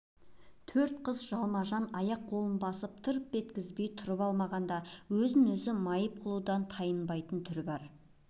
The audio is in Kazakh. төрт қыз жалма-жан аяқ-қолынан басып тырп еткізбей тұрып алмағанда өзін өзі майып қылудан тайынбайтын түрі бар